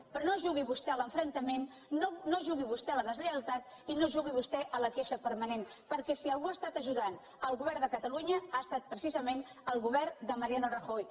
però no jugui vostè a l’enfrontament no jugui vostè a la deslleialtat i no jugui vostè a la queixa permanent perquè si algú ha ajudat el govern de catalunya ha estat precisament el govern de mariano rajoy